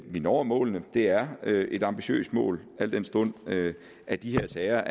vi når målet det er et ambitiøst mål al den stund at de her sager